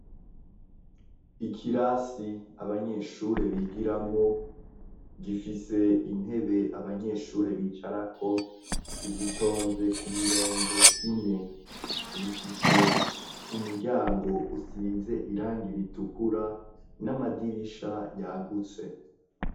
ikirasi abanyeshure bigiramwo gifise intebe abanyeshuri bicarako zitonze ku mirongo ine rifise umuryango usize irangi ritukura n'amadirisha yagutse